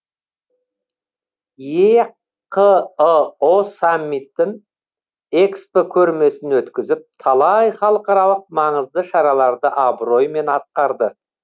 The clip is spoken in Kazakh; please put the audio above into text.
еқыұ саммитін экспо көрмесін өткізіп талай халықаралық маңызды шараларды абыроймен атқарды